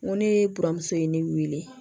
N ko ne buramuso ye ne wele